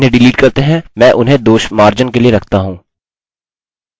अतः इन्हें डिलीट करते हैं मैं उन्हें दोषमार्जन के लिए रखता हूँ